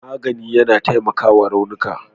magani yAna taimakawa raunuka